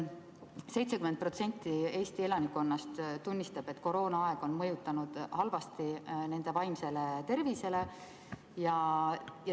70% Eesti elanikkonnast tunnistab, et koroonaaeg on mõjunud halvasti nende vaimsele tervisele.